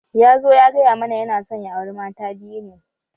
Ya zo ya gaya mana yana son ya auri mata biyu ne